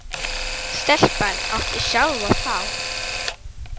Stelpan átti sjálf að fá.